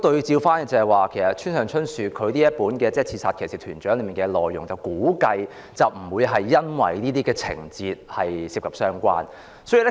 就村上春樹《刺殺騎士團長》的內容而言，我估計不是因為書中有這些情節而被評為不雅。